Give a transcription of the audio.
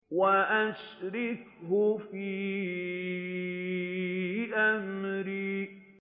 وَأَشْرِكْهُ فِي أَمْرِي